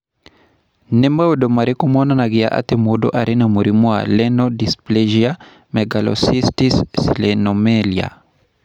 Nĩ maũndũ marĩkũ monanagia atĩ mũndũ arĩ na mũrimũ wa Renal dysplasia megalocystis sirenomelia?